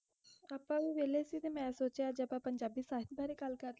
ਹੈ ਗ ਹੈ ਜ਼ਰੋਰ ਗ ਕਰੋ ਗ